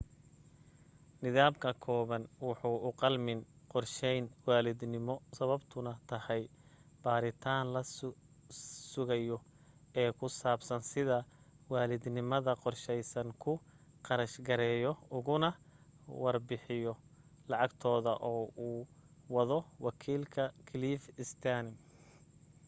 nidaamka komen wuxuu uqalmin qorsheyn waalidnimo sababtuna tahay baaritaan la sugayo ee ku saabsan sida waalidnimada qorsheysan ku kharash gareeyo ugana warbixiyo lacagtooda oo uu wado wakiilka cliff stearns